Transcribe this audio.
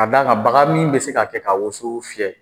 Ka d'a kan baga min bɛ se ka kɛ ka woso fiyɛ.